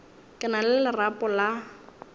ke na le lerapo la